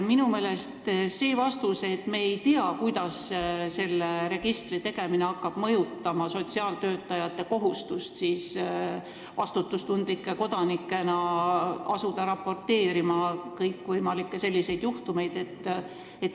Minister vastas, et ta ei tea, kuidas selle registri käivitamine hakkab mõjutama sotsiaaltöötajate kohustust raporteerida vastutustundlike kodanikena kõikvõimalikest sellistest juhtumitest.